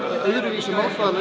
öðruvísi